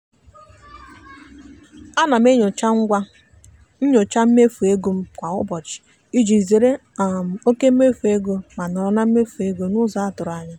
ana m enyocha ngwa nnyocha mmefu ego m kwa ụbọchị iji zeere um oke mmefu ego ma nọrọ na mmefu ego n'ụzọ a tụrụ ya.